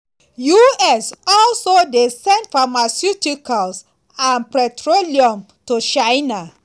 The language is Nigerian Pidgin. us also dey send pharmaceuticals and petroleum to china.